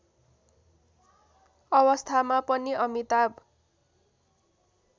अवस्थामा पनि अमिताभ